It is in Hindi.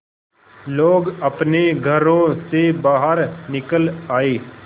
लोग अपने घरों से बाहर निकल आए